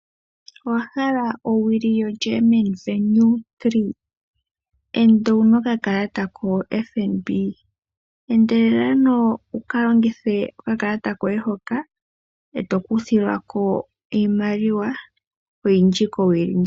Owa hala owili yo Garmin Venu 3, ndele owuna oka kalata ko FNB, endelela ano wuka longithe oka kalata koye hoka, eto kuthilwako iimaliwa oyindji kowili ndjoka.